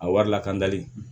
A wari lakanali